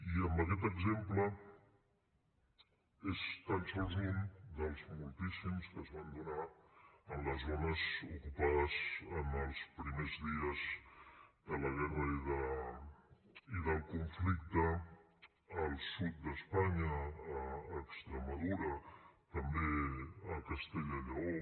i aquest exemple n’és tan sols un dels moltíssims que es van donar en les zones ocupades en els primers dies de la guerra i del conflicte al sud d’espanya a extremadura també a castella i lleó